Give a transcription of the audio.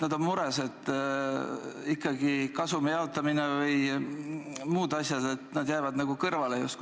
Nad on mures, ikkagi see kasumi jaotamine ja muud asjad – nad jäävad nagu kõrvale sellest.